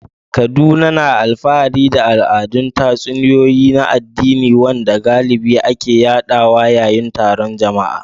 Kaduna na alfahari da al'adar tatsuniyoyi na addini, wanda galibi ake yaɗawa yayin taron jama'a.